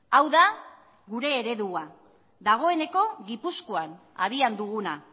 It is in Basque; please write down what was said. hau da gure eredua dagoeneko gipuzkoan abian duguna